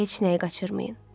Heç nəyi qaçırmayın.